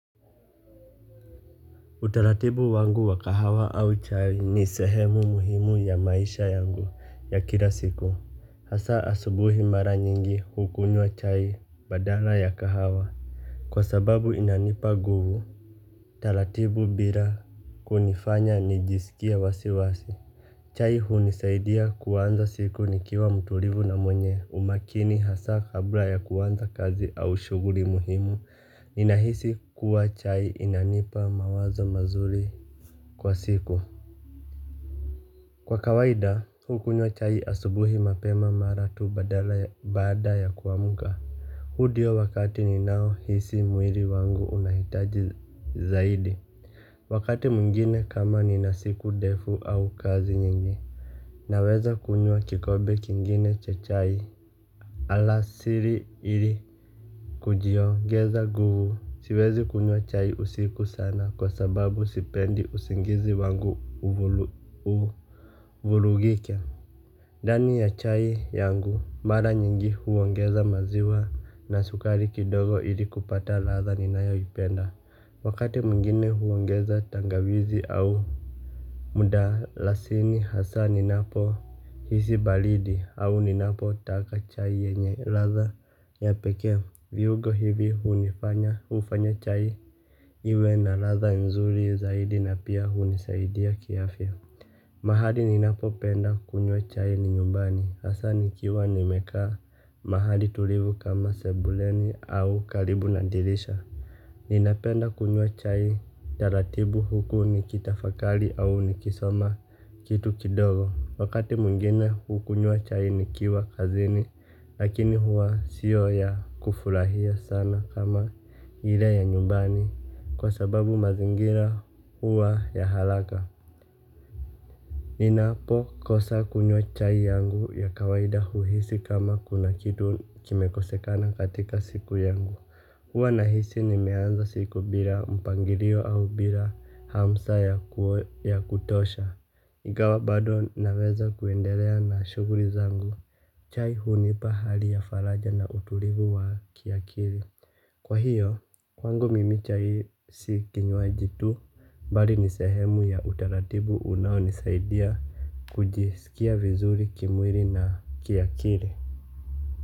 Utaratibu wangu wa kahawa au chai ni sehemu muhimu ya maisha yangu ya kila siku hasa asubuhi mara nyingi hukunywa chai badala ya kahawa kwa sababu inanipa nguvu utaratibu bila kunifanya nijisikie wasiwasi. Chai hunisaidia kuanza siku nikiwa mturivu na mwenye umakini hasa kabla ya kuanza kazi au shughuri muhimu ninahisi kuwa chai inanipa mawazo mazuri kwa siku. Kwa kawaida hukunywa chai asubuhi mapema mara tu badala baada ya kuamka. Hu dio wakati ninaohisi mwiri wangu unahitaji zaidi. Wakati mwengine kama nina siku defu au kazi nyingi naweza kunywa kikobe kingine cha chai. Alasiri ili kujiongeza nguvu. Siwezi kunywa chai usiku sana kwa sababu sipendi usingizi wangu uvulugike ndani ya chai yangu mara nyingi huongeza maziwa na sukari kidogo ili kupata ladha ninayoipenda wakati mwengine huongeza tangawizi au mdalasini hasa ninapohisi balidi au ninapotaka chai yenye ladha ya pekee. Viugo hivi hunifanya hufanya chai iwe na ladha nzuri zaidi na pia hunisaidia kiafya. Mahali ninapopenda kunywa chai ni nyumbani hasa nikiwa nimekaa mahali tulivu kama sebuleni au karibu na dirisha. Ninapenda kunywa chai taratibu huku nikitafakari au nikisoma kitu kidogo. Wakati mwengine hukunywa chai nikiwa kazini lakini hua sio ya kufurahia sana kama ile ya nyumbani kwa sababu mazingira huwa ya haraka. Ninapokosa kunywa chai yangu ya kawaida huhisi kama kuna kitu kimekosekana katika siku yangu. Huwa nahisi nimeanza siku bila mpangirio au bila hamsa ya kutosha. Ingawa bado naweza kuendelea na shughuri zangu. Chai hunipa hali ya faraja na utulivu wa kiakiri. Kwa hiyo, kwangu mimi chai si kinywaji tu bali ni sehemu ya utaratibu unaonisaidia kujisikia vizuri kimwiri na kiakiri.